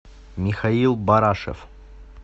михаил барашев